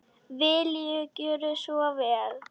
Viljiði gjöra svo vel.